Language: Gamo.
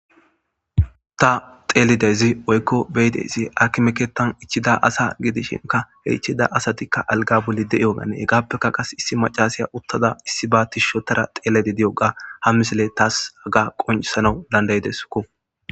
Taa xellizayiss woyikko be'izayiss akime keththanni ichchida asa gidishshinkka he ichida asatikka aliga bolla de'iyoganne hegappekka qasi issi macashiya uttada issibba tishshi oththada xelayidda diyoga haa misileyi tasi haga qonccissanawu danida'idesskko.